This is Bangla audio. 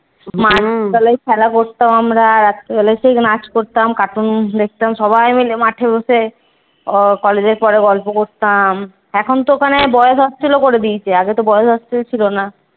তলায় খেলা করতাম আমরা। রাত্রিবেলা সেই নাচ করতাম cartoon দেখতাম সবাইমিলে মাঠে বসে। college এর পরে গল্প করতাম। এখন তো ওখানে boys hostel করে দিয়েছে। আগে boys hostel ছিল না।